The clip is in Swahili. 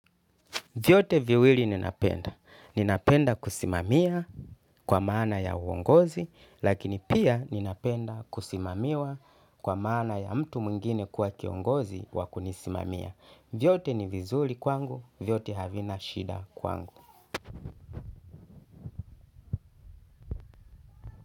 Vyote viwili ninapenda. Ninapenda kusimamia kwa maana ya uongozi, lakini pia ninapenda kusimamiwa kwa maana ya mtu mwingine kuwa kiongozi wakunisimamia. Vyote ni vizuri kwangu vyote havina shida kwangu.